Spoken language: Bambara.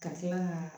Ka kila ka